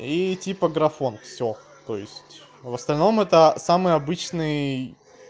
и типа графон всё то есть в остальном это самый обычный